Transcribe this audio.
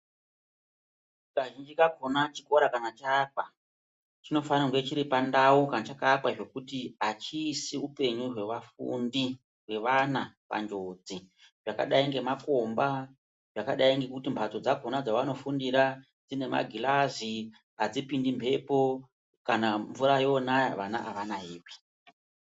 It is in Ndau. Kazhinji kakona chikora kana cha akwa chino fanira kunge chiri pandau kana chaka akwa zvekuti achiisi upenyu hwe vafundi hwe vana pa njodzi zvakadai nge makomba zvakadai ngekuti mbatso dzakona dzavano fundira dzine magilazi adzipindi mbepo kana mvura yonaya vana ava nayiwi.